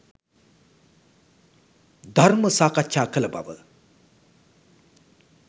ධර්ම සාකච්ඡා කළ බව